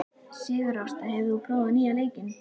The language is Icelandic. Sigurásta, hefur þú prófað nýja leikinn?